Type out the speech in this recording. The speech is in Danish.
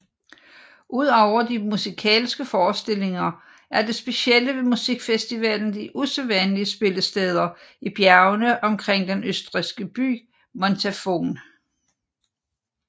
Ud over de musikalske forestillinger er det specielle ved musikfestivalen de usædvanlige spillesteder i bjergene omkring den østrigske by Montafon